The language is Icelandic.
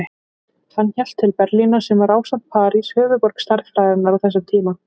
Hann hélt til Berlínar sem var, ásamt París, höfuðborg stærðfræðinnar á þessum tíma.